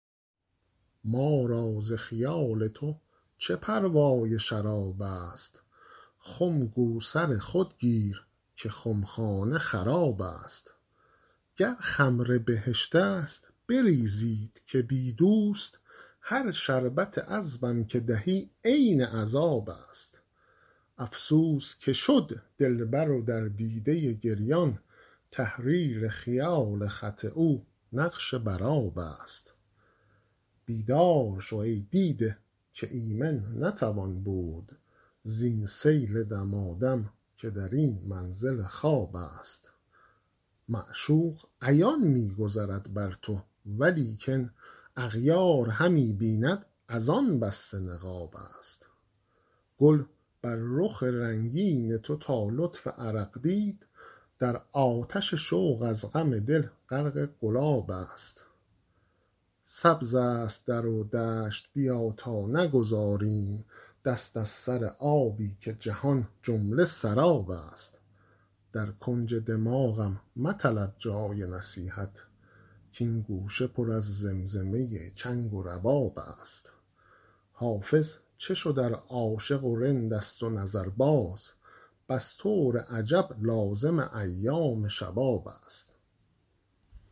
ما را ز خیال تو چه پروای شراب است خم گو سر خود گیر که خمخانه خراب است گر خمر بهشت است بریزید که بی دوست هر شربت عذبم که دهی عین عذاب است افسوس که شد دلبر و در دیده گریان تحریر خیال خط او نقش بر آب است بیدار شو ای دیده که ایمن نتوان بود زین سیل دمادم که در این منزل خواب است معشوق عیان می گذرد بر تو ولیکن اغیار همی بیند از آن بسته نقاب است گل بر رخ رنگین تو تا لطف عرق دید در آتش شوق از غم دل غرق گلاب است سبز است در و دشت بیا تا نگذاریم دست از سر آبی که جهان جمله سراب است در کنج دماغم مطلب جای نصیحت کـ این گوشه پر از زمزمه چنگ و رباب است حافظ چه شد ار عاشق و رند است و نظرباز بس طور عجب لازم ایام شباب است